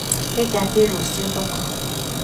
Nĩngathĩe rũcĩũ thoko.